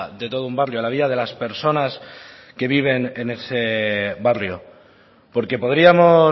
de todo un barrio a la vida de las personas que viven en ese barrio porque podríamos